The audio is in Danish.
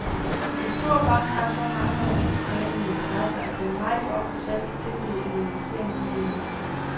En stor bank har så mange og vidt forgrenede interesser, at den meget ofte selv kan tilbyde en investeringsmulighed.